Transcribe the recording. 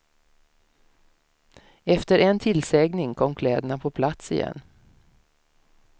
Efter en tillsägning kom kläderna på plats igen.